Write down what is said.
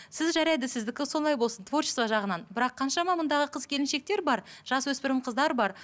сіз жарайды сіздікі солай болсын творчество жағынан бірақ қаншама мұндағы қыз келіншектер бар жасөспірім қыздар бар